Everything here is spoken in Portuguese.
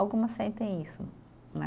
Algumas sentem isso, né?